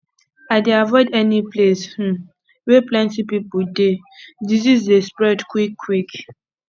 i dey avoid any place um wey plenty pipo dey disease dey spread quickquick